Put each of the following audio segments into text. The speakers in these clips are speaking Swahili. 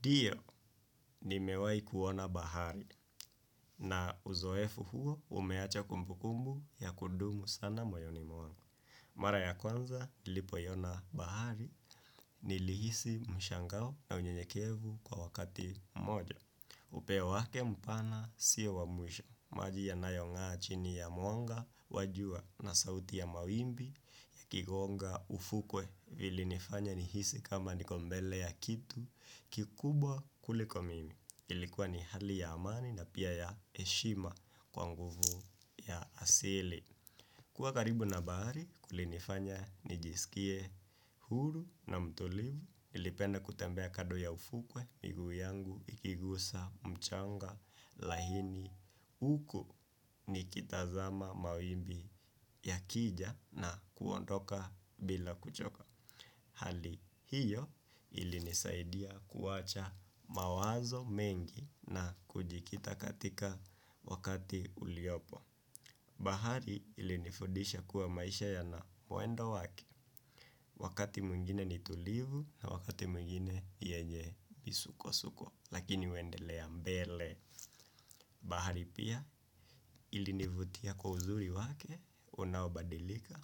Ndio nimewahi kuona bahari na uzoefu huo umeacha kumbukumbu ya kudumu sana moyoni mwangu. Mara ya kwanza nilipoiona bahari nilihisi mshangao na unyenyekevu kwa wakati mmoja. Upeo wake mpana sio wa mwisho. Maji yanayong'aa chini ya mwanga wa jua na sauti ya mawimbi yakigonga ufukwe vilinifanya nihisi kama niko mbele ya kitu kikubwa kuliko mimi. Ilikuwa ni hali ya amani na pia ya heshima kwa nguvu ya asili. Kuwa karibu na bahari, kulinifanya, nijisikie huru na mtulivu. Nilipenda kutembea kando ya ufukwe, miguu yangu, ikigusa, mchanga, laini huku nikitazama mawimbi yakija na kuondoka bila kuchoka. Hali hiyo ilinisaidia kuwacha mawazo mengi na kujikita katika wakati uliopo. Bahari ilinifudisha kuwa maisha yana mwendo wake, wakati mwingine ni tulivu na wakati mwingine yenye misukosuko, lakini waendelea mbele. Bahari pia ilinivutia kwa uzuri wake unaobadilika.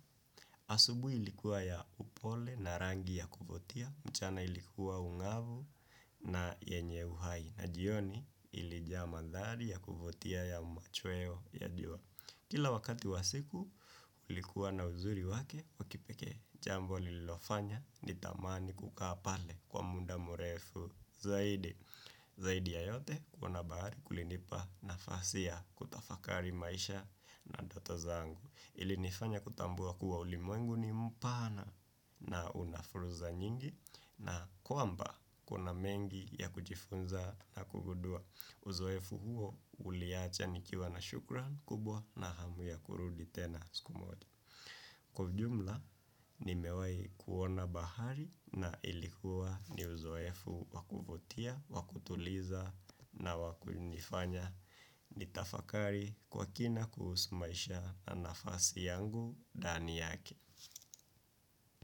Asubuhi ilikuwa ya upole na rangi ya kuvutia, mchana ilikuwa ung'avu na yenye uhai na jioni ilijaa mandhari ya kuvutia ya machweo ya jua. Kila wakati wa siku, ulikuwa na uzuri wake wa kipekee, jambo lilofanya nitamani kukaa pale kwa muda mrefu zaidi. Zaidi ya yote kuona bahari kulinipa nafasi ya kutafakari maisha na ndoto zangu. Ilinifanya kutambua kuwa ulimwengu ni mpana na una fursa nyingi na kwamba kuna mengi ya kujifunza na kugudua. Uzoefu huo uliacha nikiwa na shukran kubwa na hamu ya kurudi tena siku moja. Kwa ujumla, nimewahi kuona bahari na ilikuwa ni uzoefu wa kuvutia, wa kutuliza na wa kunifanya nitafakari kwa kina kuhusu maisha na nafasi yangu ndani yake.